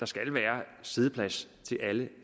skal være siddeplads til alle